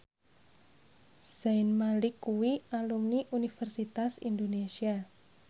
Zayn Malik kuwi alumni Universitas Indonesia